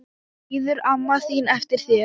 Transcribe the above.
Bíður amma þín eftir þér?